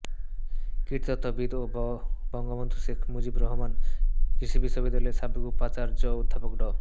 কীটতত্ত্ববিদ ও বঙ্গবন্ধু শেখ মুজিবুর রহমান কৃষি বিশ্ববিদ্যালয়ের সাবেক উপাচার্য অধ্যাপক ড